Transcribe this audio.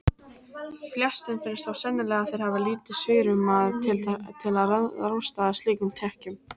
Flestum finnst þó sennilega að þeir hafi lítið svigrúm til að ráðstafa slíkum tekjum.